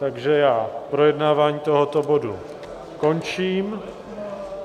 Takže já projednávání tohoto bodu končím.